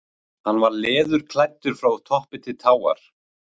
Hann var leðurklæddur frá toppi til táar.